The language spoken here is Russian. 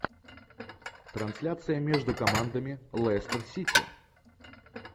трансляция между командами лестер сити